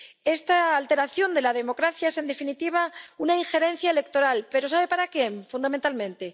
Esta alteración de la democracia es, en definitiva, una injerencia electoral, pero ¿sabe para qué fundamentalmente?